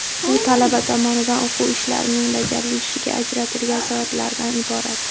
U talaba tomonidan o‘quv ishlarining bajarilishiga ajratilgan soatlardan iborat.